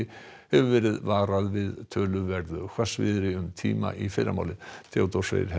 hefur verið varað við töluverðu hvassviðri um tíma í fyrramálið Theodór Freyr